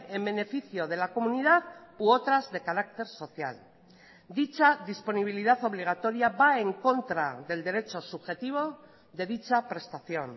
en beneficio de la comunidad u otras de carácter social dicha disponibilidad obligatoria va en contra del derecho subjetivo de dicha prestación